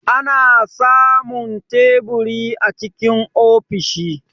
Ana samun teburi a cikin ofishi.